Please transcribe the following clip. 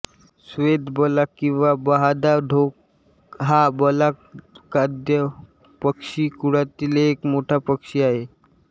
श्वेतबलाक किव्हा बहादा ढोक हा बलाकाद्य पक्षिकुळातील एक मोठा पक्षी आहे